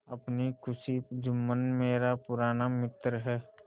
अपनी खुशी जुम्मन मेरा पुराना मित्र है